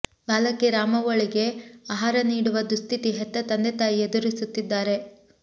ಬಾಲಕಿ ರಾಮವ್ವಳಿಗೆ ಆಹಾರ ನೀಡುವ ದುಸ್ಥಿತಿ ಹೆತ್ತ ತಂದೆ ತಾಯಿ ಎದುರಿಸುತ್ತಿದ್ದಾರೆ